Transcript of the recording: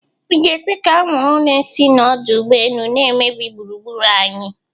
Ị ga-ekwe ka awụrụ na-esi na ọdụ ogbo elu n'emebi gburugbụru anyị?